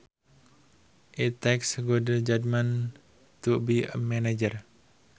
It takes good judgment to be a manager